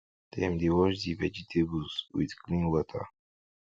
dem dey wash the vegetables with clean water